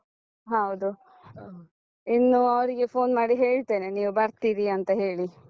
ಹಾ ಹೌದು. ಇನ್ನೂ ಅವರಿಗೆ phone ಮಾಡಿ ಹೇಳ್ತೇನೆ ನೀವು ಬರ್ತೀರಿ ಅಂತ ಹೇಳಿ.